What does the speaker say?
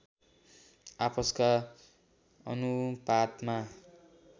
आपसका अनुपातमा